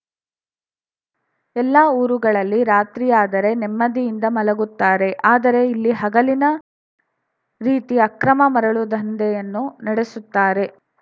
ಎಲ್ಲಾ ಊರುಗಳಲ್ಲಿ ರಾತ್ರಿಯಾದರೆ ನೆಮ್ಮದಿಯಿಂದ ಮಲಗುತ್ತಾರೆ ಆದರೆ ಇಲ್ಲಿ ಹಗಲಿನ ರೀತಿ ಅಕ್ರಮ ಮರಳು ದಂಧೆಯನ್ನು ನಡೆಸುತ್ತಾರೆ